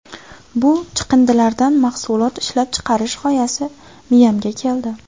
Bu chiqindilardan mahsulot ishlab chiqarish g‘oyasi miyamga keldi.